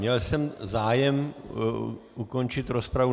Měl jsem zájem ukončit rozpravu.